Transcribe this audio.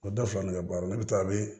O da fila ne ka baara ne bɛ taa ne